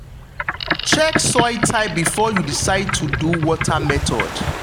check soil type before you decide to do water method.